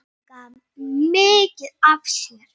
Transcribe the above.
Hún gaf mikið af sér.